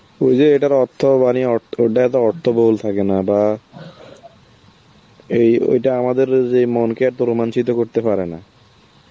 ওই যে এটার অর্থ বাণী অট্ট~ ওটাই তো অর্থ বল থাকে না বা এই ওইটা আমাদের যে মনকে এত রোমাঞ্জি তো করতে পারেনা,